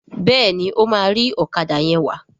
Béèni o ma ri Ọ̀kadà yén wá.